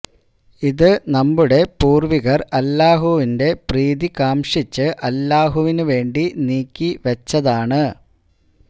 ഇത് നമ്മുടെ പൂര്വികര് അല്ലാഹുവിന്റെ പ്രീതി കാംക്ഷിച്ച് അല്ലാഹുവിന് വേണ്ടി നീക്കി വെച്ചതാണ്